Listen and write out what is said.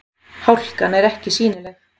Hálkan er ekki sýnileg